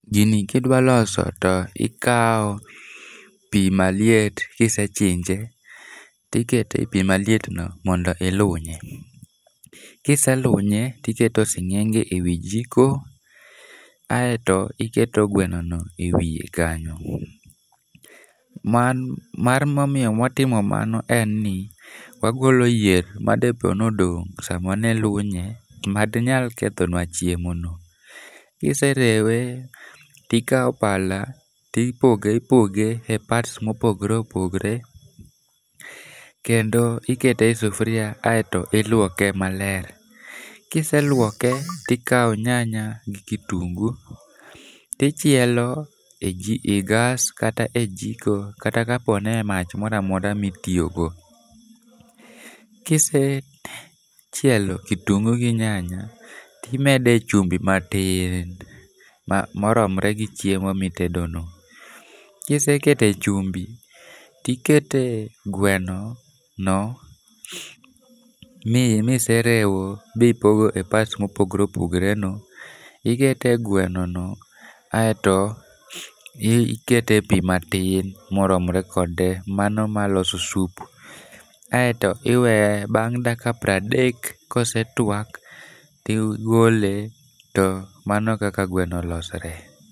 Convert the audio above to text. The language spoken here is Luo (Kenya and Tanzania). Gini ka idwa loso to ikawo pi maliet ka ise chinje to iketo e pi malietno mondo ilunye. Ka iselunye to iketo e sing'enge ewi jiko aeto iketo gwenono ewiye kanyo mar momiyo watimo mano en ni wagolo yier madepo ni odong' sama ne ilunye manyalo kethonua chiemono. Ka ise rewe to ikawo pala to ipoge ipoge e [cs[parts mopogore opogore kendo ikete e sufuria aeto iluoke maler. Ka ise luoke to ikawo nyanya gi kitungu to ichielo ejik e gas kata ei jiko kata kata kaponi e mach moro amora ma itiyogo. Ka isechielo kitungu gi nyanya to imede chumbi matin moromre gi chiemo mitedono. Ka isekete chumbi to ikete gweno no miserewo bi pogo e parts mopogore opogoreno, ikete gweno aeto ikete pi matin moromre kode mano maloso soup. Aeto iweye bang' dakika piero adek ka osetuak to igole to mano kaka gweno olosore.